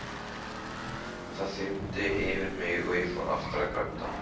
Það þyrmdi yfir mig og ég fór aftur að gráta.